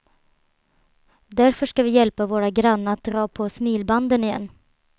Därför ska vi hjälpa våra grannar att dra på smilbanden igen.